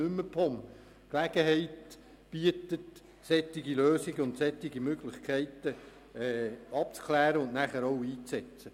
Dies bietet die Gelegenheit, mögliche Lösungen abzuklären und anschliessend auch umzusetzen.